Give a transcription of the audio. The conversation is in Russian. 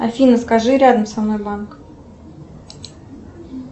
афина скажи рядом со мной банк